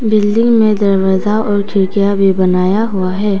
Building में दरवाजा और खिड़कियां भी बनाया हुआ है।